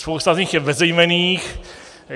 Spousta z nich je bezejmenných.